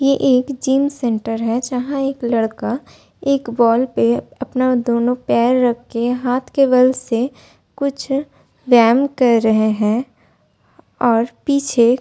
ये एक gym centre है जहां एक लड़का एक वॉल पे अपना दोनों पैर रख के हाथ के बल से कुछ व्यायाम कर रहे हैं और पीछे --